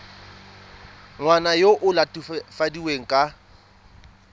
ngwana yo o latofadiwang ka